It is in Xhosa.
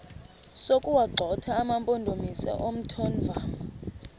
sokuwagxotha amampondomise omthonvama